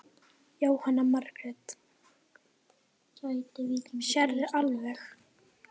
Jóhanna Margrét: Sérðu alveg?